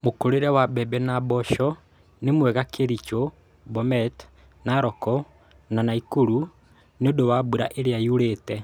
Mũkũrĩre wa mbembe na mboco nĩmwega Kericho, Bomet, Narok, na Nakuru nĩũndũ wa mbura ĩrĩa yurĩte